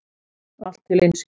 Allt til einskis.